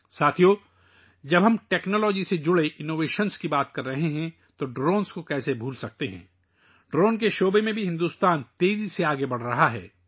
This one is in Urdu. دوستو، جب ہم ٹیکنالوجی سے متعلق ایجادات کی بات کر رہے ہیں تو ہم ڈرون کو کیسے بھول سکتے ہیں؟ بھارت ڈرون کے میدان میں بھی تیزی سے آگے بڑھ رہا ہے